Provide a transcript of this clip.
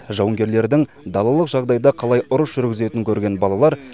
жауынгерлердің далалық жағдайда қалай ұрыс жүргізетінін көрген балалар